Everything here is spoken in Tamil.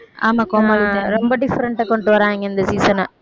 ஆமா கோமாளி தான், ரொம்ப different ஆ கொண்டுட்டு வர்றாங்க இந்த season அ